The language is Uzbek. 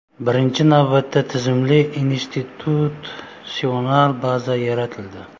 Birinchi navbatda tizimli institutsional baza yaratildi.